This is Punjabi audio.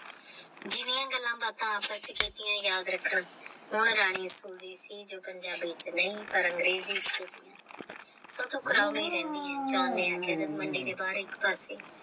ਜਿਹਣੀਆਂ ਗੱਲਾਂ ਬਾਤਾਂ ਆਪਸ ਵਿੱਚ ਕੀਤੀਆਂ ਯਾਦ ਰੱਖਣਾ ਹੁਣ soji ਸੁਣਦੀ ਸੀ ਜੋ ਪੰਜਾਬੀ ਵਿੱਚ ਨਹੀਂ ਪਰ ਅੰਗਰੇਜ਼ੀ ਵਿੱਚ ਤੋਂ ਰਹਿੰਦੀ ਹੈ John ਨੇ ਆਖਿਆ ਮੰਡੀ ਦੇ ਬਾਹਰ ਇੱਕ ਘਰ ਸੀ।